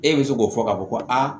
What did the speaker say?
E bɛ se k'o fɔ k'a fɔ ko a